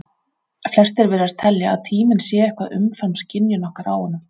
Flestir virðast telja að tíminn sé eitthvað umfram skynjun okkar á honum.